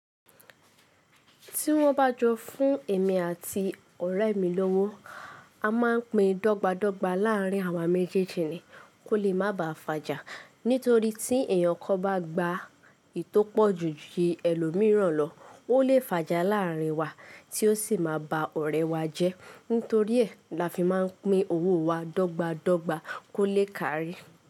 Tí wọ́n bá jọ fún èmi àti ọ̀rẹ́ mi lówó, a máa ń pín dogbadogba láàrin àwa méjèèjì ni kó lè má baà fàjà. Nítorí tí èèyàn kan bá gba ìtó pọ̀jù ju ẹlòmíràn lọ, ó lè fàjà láàrin wa tí ó sì máa ba ọ̀rẹ́ wa jẹ́. Nítorí ẹ́ lafi máa ń pín owó wa dọ́gba dọ́gba kó lè kárí.